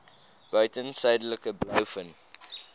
buiten suidelike blouvin